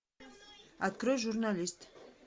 открой журналист